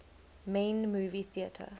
main movie theatre